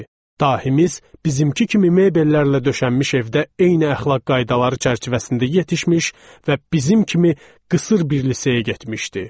Dahimiz bizimki kimi mebellərlə döşənmiş evdə eyni əxlaq qaydaları çərçivəsində yetişmiş və bizim kimi qısır bir liseyə getmişdi.